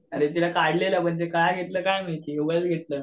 अरे तिला काढलेलं पण तिला का घेतलं काय माहिती उगचं घेतलं.